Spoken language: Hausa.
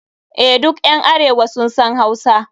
EH, duk ƴan arewa sun san Hausa.